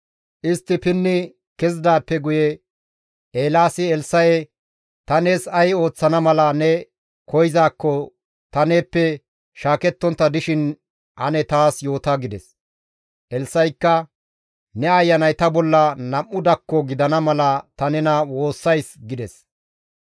Istti pinni kezidaappe guye Eelaasi Elssa7e, «Ta nees ay ooththana mala ne koyzaakko ta neeppe shaakettontta dishin ane taas yoota» gides. Elssa7ikka, «Ne ayanay ta bolla nam7u dakko gidana mala ta nena woossays» gides.